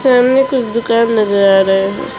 सामने कुछ दुकान नजर आ रहा है।